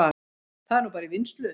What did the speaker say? Það er núna bara í vinnslu